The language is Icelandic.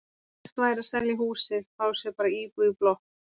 Best væri að selja húsið, fá sér bara íbúð í blokk.